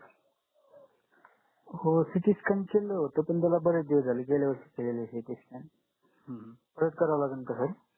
हो ct scan केलं होतं पण त्याला बरेच दिवस झाले गेल्या वर्षी केलेलं होतं ct scan परत कराव लागेल का काही